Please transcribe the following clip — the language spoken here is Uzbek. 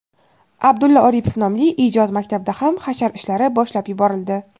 Abdulla Oripov nomli ijod maktabida ham hashar ishlari boshlab yuborildi.